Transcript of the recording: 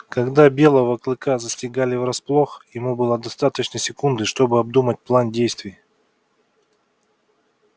когда белого клыка застигали врасплох ему было достаточно секунды чтобы обдумать план действий